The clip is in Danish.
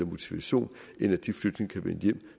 motivation end at de flygtninge kan vende hjem